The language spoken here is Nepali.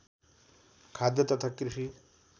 खाद्य तथा कृषि